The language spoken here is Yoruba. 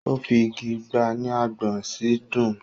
ó fi igi gbá a ní agbọ̀n ó sì dùn ún.